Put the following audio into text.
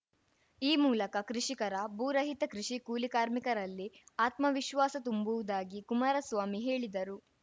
ಈ ಮೂಲಕ ಕೃಷಿಕರ ಭೂರಹಿತ ಕೃಷಿ ಕೂಲಿಕಾರ್ಮಿಕರಲ್ಲಿ ಆತ್ಮವಿಶ್ವಾಸ ತುಂಬುವುದಾಗಿ ಕುಮಾರಸ್ವಾಮಿ ಹೇಳಿದರು